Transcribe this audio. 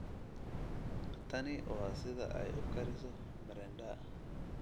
Tani waa sida ay u kariso mrenda